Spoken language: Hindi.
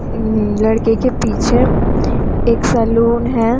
उम्म लड़के के पीछे एक सैलून है।